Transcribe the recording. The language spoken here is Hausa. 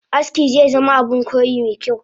Aski zezama Abun koyi mekyau